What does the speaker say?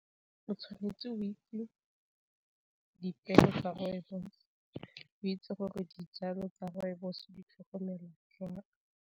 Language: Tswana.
O tshwanetse go itse dipeo tsa rooibos-o, o itse gore dijalo tsa rooibos-o di tlhokomela jwang.